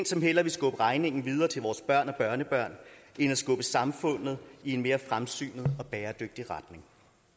som hellere vil skubbe regningen videre til vores børn og børnebørn end skubbe samfundet i en mere fremsynet og bæredygtig retning